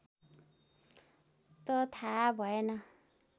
त थाहा भएन